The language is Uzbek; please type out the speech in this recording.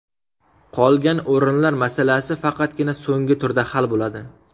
Qolgan o‘rinlar masalasi faqatgina so‘nggi turda hal bo‘ladi.